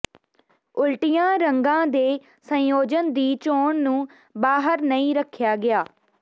ਉਲਟੀਆਂ ਰੰਗਾਂ ਦੇ ਸੰਯੋਜਨ ਦੀ ਚੋਣ ਨੂੰ ਬਾਹਰ ਨਹੀਂ ਰੱਖਿਆ ਗਿਆ